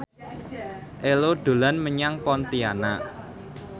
Ello dolan menyang Pontianak